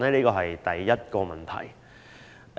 這是第一個問題。